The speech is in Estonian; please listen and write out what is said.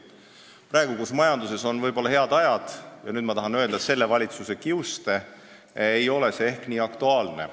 Praegu, kui majanduses on võib-olla head ajad – ja nüüd ma tahan öelda, et selle valitsuse kiuste –, ei ole see ehk nii aktuaalne.